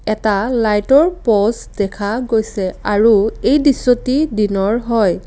এটা লাইটৰ প'ষ্ট দেখা গৈছে আৰু এই দৃশ্যটি দিনৰ হয়।